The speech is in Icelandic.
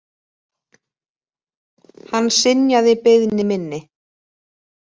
Hann synjaði beiðni minni.